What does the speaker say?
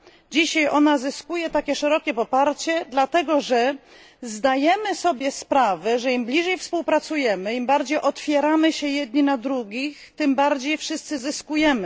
Dzisiaj zyskuje ona tak szerokie poparcie, dlatego że zdajemy sobie sprawę z tego, że im bliżej współpracujemy, im bardziej otwieramy się jedni na drugich, tym bardziej wszyscy zyskujemy.